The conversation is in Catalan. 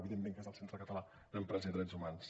evidentment que és el centre català d’empresa i drets humans